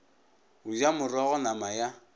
go ja morogo nama ya